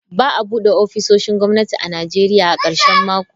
Ba a bude ofisoshin gwamnati a Najeriya a karshen mako.